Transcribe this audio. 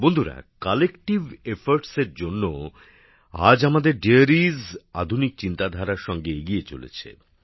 বন্ধুরা যৌথ উদ্যোগের জন্য আজ আমাদের দুগ্ধশিল্প আধুনিক চিন্তাধারার সঙ্গে এগিয়ে চলেছে